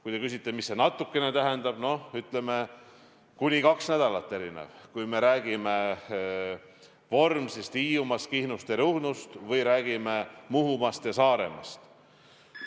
Kui te küsite, mis see "natukene" tähendab, siis ütleme, et kuni kaks nädalat erinev, kui me räägime Vormsist, Hiiumaast, Kihnust ja Ruhnust või räägime Muhumaast ja Saaremaast.